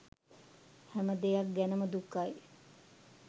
හැම දෙයක් ගැනම දුකයි.